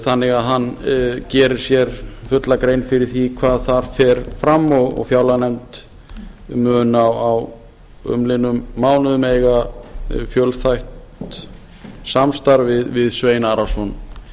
þannig að hann gerir sér fulla grein fyrir því hvar þar fer fram og fjárlaganefnd mun á umliðnum mánuðum eiga fjölþætt samstarf við svein arason